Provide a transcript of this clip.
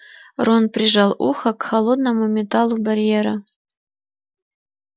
рон прижал ухо к холодному металлу барьера